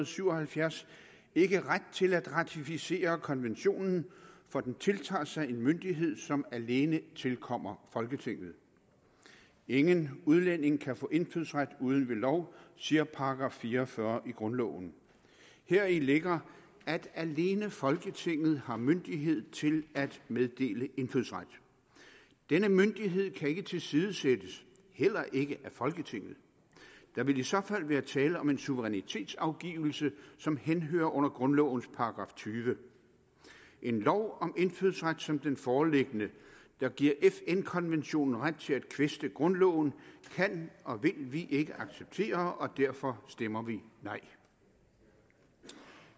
syv og halvfjerds ikke ret til at ratificere konventionen for den tiltager sig en myndighed som alene tilkommer folketinget ingen udlænding kan få indfødsret uden ved lov siger § fire og fyrre i grundloven heri ligger at alene folketinget har myndighed til at meddele indfødsret denne myndighed kan ikke tilsidesættes heller ikke af folketinget der vil i så fald være tale om en suverænitetsafgivelse som henhører under grundlovens § tyvende en lov om indfødsret som den foreliggende der giver fn konventionen ret til at kvæste grundloven kan og vil vi ikke acceptere og derfor stemmer vi nej